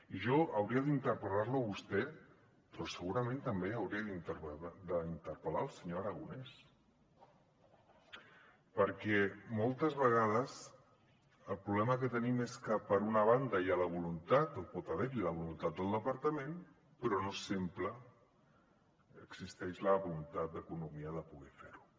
i jo hauria d’interpellar lo a vostè però segurament també hauria d’interpel·lar el senyor aragonès perquè moltes vegades el problema que tenim és que per una banda hi ha la voluntat o pot haver hi la voluntat del departament però no sempre existeix la voluntat d’economia de poder fer ho